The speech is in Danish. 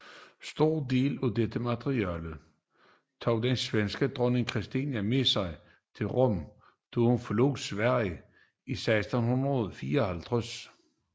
Store dele af dette materiale tog den svenske dronning Kristina med sig til Rom da hun forlod Sverige 1654